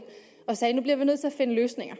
og sagde at nu bliver vi nødt til at finde løsninger